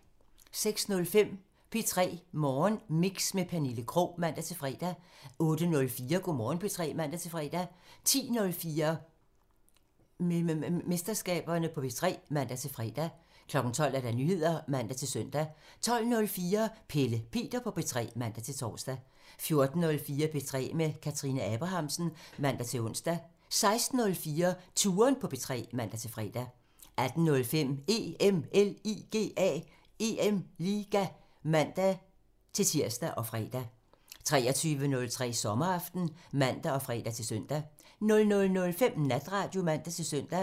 06:05: P3 Morgenmix med Pernille Krog (man-fre) 08:04: Go' Morgen P3 (man-fre) 10:04: Mememesterskaberne på P3 (man-fre) 12:00: Nyheder (man-søn) 12:04: Pelle Peter på P3 (man-tor) 14:04: P3 med Kathrine Abrahamsen (man-ons) 16:04: Touren på P3 (man-fre) 18:05: EM LIGA (man-tir og fre) 23:03: Sommeraften (man og fre-søn) 00:05: Natradio (man-søn)